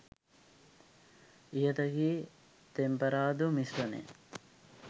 ඉහත කී තෙම්පරාදු මිශ්‍රණය